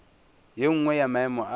ye nngwe ya maemo a